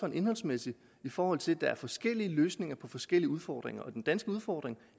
en indholdsmæssig fordi der er forskellige løsninger på forskellige udfordringer den danske udfordring